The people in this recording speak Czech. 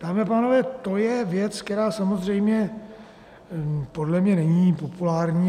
Dámy a pánové, to je věc, která samozřejmě podle mě není populární.